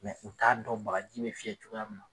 u t'a dɔn bagaji bɛ fiyɛ cogoya min na.